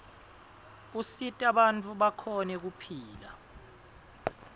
asita banifu bakhone kupihla